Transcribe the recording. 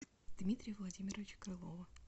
дмитрия владимировича крылова